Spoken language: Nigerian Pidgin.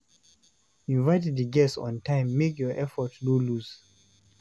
Invite di guests on time make your effort no loss